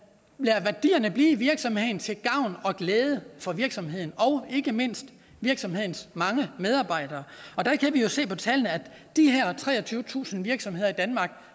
lader værdierne blive i virksomheden til gavn og glæde for virksomheden og ikke mindst virksomhedens mange medarbejdere der kan vi jo se på tallene at de her treogtyvetusind virksomheder i danmark